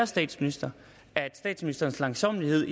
statsministeren at statsministerens langsommelighed